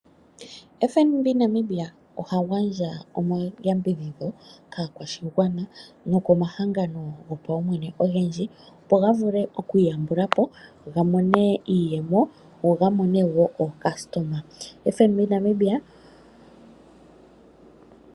Fnb naNamibia ohaga ndja oyambidhidho kaakwashigwana nokomahangano gopaumwene ogendji opo nga vulule okwiiyambulapo gamone iiyemo ngo onga mone woo oocustomer Fnb Namibia.